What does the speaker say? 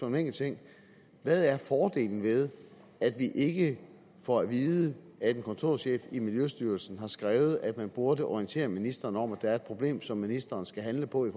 en enkelt ting hvad er fordelen ved at vi ikke får at vide at en kontorchef i miljøstyrelsen har skrevet at man burde orientere ministeren om at der er et problem som ministeren skal handle på i